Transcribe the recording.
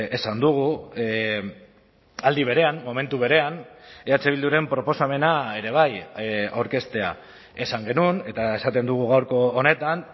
esan dugu aldi berean momentu berean eh bilduren proposamena ere bai aurkeztea esan genuen eta esaten dugu gaurko honetan